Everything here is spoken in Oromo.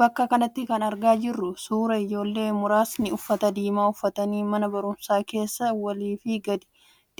Bakka kanatti kan argaa jirru suuraa ijooleen muraasni uffata diimaa uffattee mana barumsaa keessa walii fi gadi